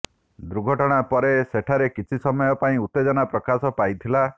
ଦୁର୍ଘଟଣା ପରେ ସେଠାରେ କିଛି ସମୟ ପାଇଁ ଉତ୍ତେଜନା ପ୍ରକାଶ ପାଇଥିଲା